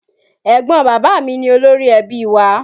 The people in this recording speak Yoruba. Ẹ̀gbọ́n bàbá mi ni Olórí-ẹbí wa